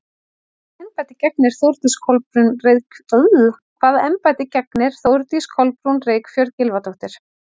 Hvaða embætti gegnir Þórdís Kolbrún Reykfjörð Gylfadóttir?